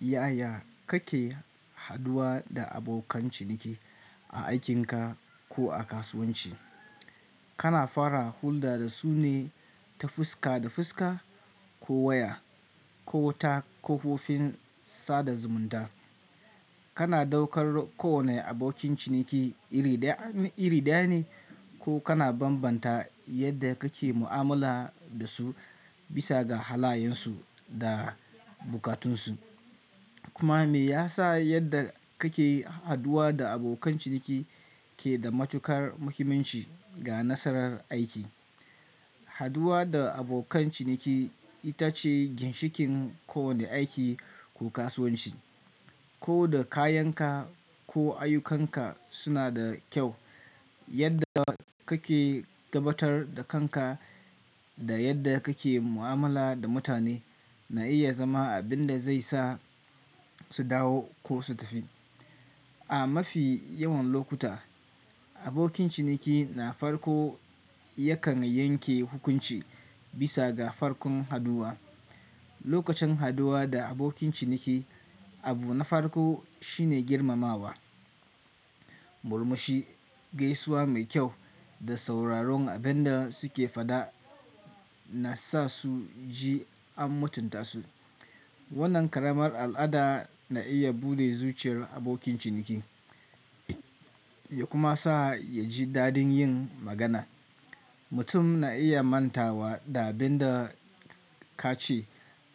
Yaya kake haduwa da abokan ciniki a aikinka ko a kasuwanci? Kana fara hulɗa da su ne ta fuska da fuska ko waya ko ta kafofin sada zumunta? Kana daukar kowane abokin ciniki iri ɗaya iri ɗaya ne ko kana bambanta yadda kake mu'amala da su bisa ga halayensu da bukatunsu? Kuma me yasa yadda kake haduwa da abokan ciniki ke da matuƙar muhimmanci ga nasarar aiki? Haduwa da abokan ciniki ita ce ginshikin kowane aiki ko kasuwanci. Ko da kayanka ko ayyukanka suna da kyau, yadda kake gabatar da kanka da yadda kake mu'amala da mutane na iya zama abin da zai sa su dawo ko su tafi. A mafi yawan lokuta, abokin ciniki na farko yakan yanke hukunci bisa ga farkon haduwa. Lokacin haduwa da abokin ciniki, abu na farko shine girmamawa, murmushi, gaisuwa mai kyau da sauraron abin da suke faɗa na sa su ji an mutunta su. Wannan ƙaramar al'ada na iya buɗe zuciyar abokin ciniki ya kuma sa ya ji dadin yin magana. Mutum na iya manta wa da abin da ka ce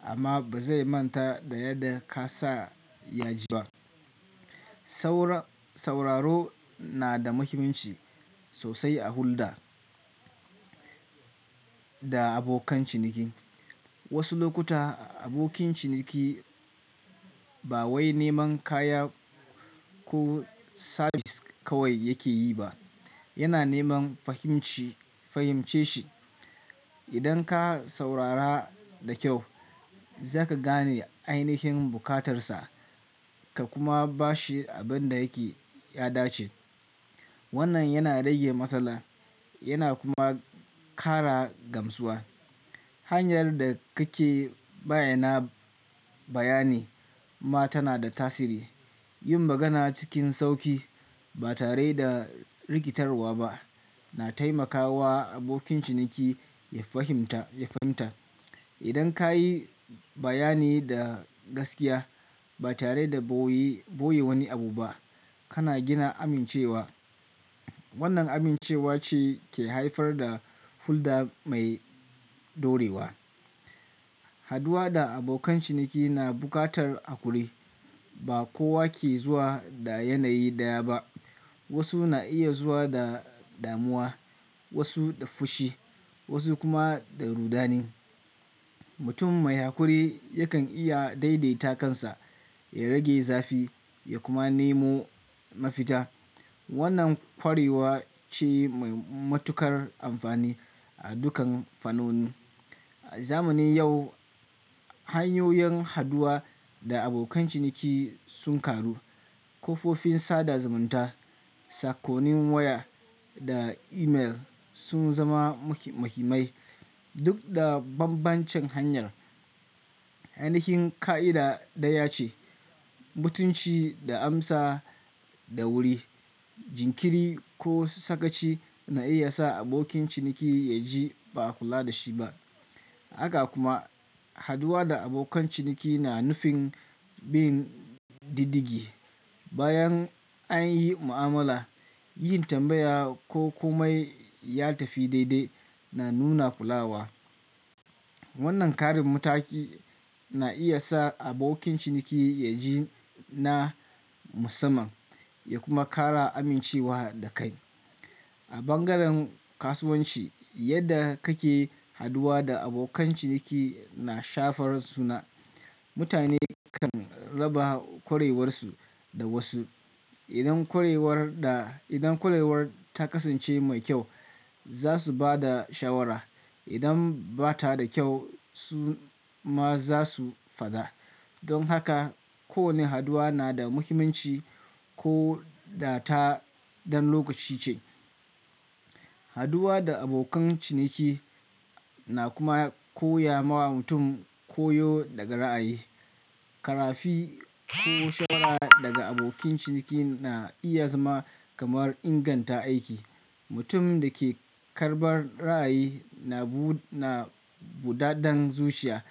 amma ba zai manta da yadda ka sa ya ji ba. Sauran sauraro na da muhimmanci sosai a hulɗa da abokan ciniki. Wasu lokuta abokin ciniki ba wai neman kaya ko sabis kawai yake yi ba, yana neman fahimci fahimce shi. Idan ka saurara da kyau, za ka gane ainihin bukatarsa ka kuma ba shi abin da yake ya dace. Wannan yana rage matsala yana kuma kara gamsuwa. Hanyar da kake bayyana bayani ma tana da tasiri. Yin magana cikin sauƙi ba tare da rikitarwa ba na taimakawa abokin ciniki ya fahimta ya fahimta. Idan ka yi bayani da gaskiya ba tare da ɓoye ɓoye wani abu ba, kana gina amincewa. Wannan amincewa ce ke haifar da hulɗa mai ɗorewa. Haduwa da abokan ciniki na buƙatar haƙuri. Ba kowa ke zuwa da yanayi ɗaya ba. Wasu na iya zuwa da damuwa, wasu da fushi, wasu kuma da rudani. Mutum mai haƙuri yakan iya daidaita kansa, ya rage zafi ya kuma nemo mafita. Wannan ƙwarewa ce mai matuƙar amfani a dukan fannonin. A zamanin yau hanyoyin haduwa da abokan ciniki sun karu. Kafofin sada zumunta, sakonin waya da email sun zama mahi muhimmai. Duk da bambancin hanyar, ainihin ƙa'ida ɗaya ce. Mutunci da amsa da wuri, jinkiri ko sakaci na iya sa abokin ciniki ya ji ba a kula da shi ba. Haka kuma haduwa da abokan ciniki na nufin bin diddigi. Bayan an yi mu'amala, yin tambaya ko komai ya tafi daidai na nuna kulawa. Wannan ƙarin mataki na iya sa abokin ciniki ya ji na musamman ya kuma ƙara amincewa da kai. A bangaren kasuwanci, yadda kake haduwa da abokan ciniki na shafar suna. Mutane kan raba ƙwarewarsu da wasu. Idan ƙwarewar da idan ƙwarewar ta kasance mai kyau, za su ba da shawara. Idan ba ta da kyau, su ma za su faɗa. Don haka kowane haduwa na da muhimmanci ko da ta dan lokaci ce. Haduwa da abokan ciniki na kuma koya ma mutum koyo daga ra'ayi. Ƙarafi ko shawara daga abokin ciniki na iya zama kamar inganta aiki. Mutum da ke karɓar ra'ayi na bu na buɗaden zuciya.